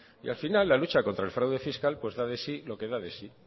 y al final la lucha contra el fraude fiscal pues da de sí lo que da de sí